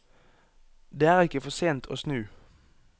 Det er ikke for sent å snu.